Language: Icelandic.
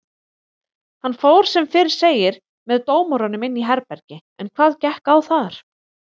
Hann fór sem fyrr segir með dómurunum inn í herbergi en hvað gekk á þar?